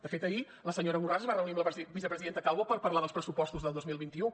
de fet ahir la senyora borràs es va reunir amb la vicepresidenta calvo per parlar dels pressupostos del dos mil vint u